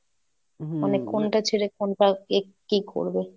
কোনটা ছেড়ে কোনটা এ কি করবে?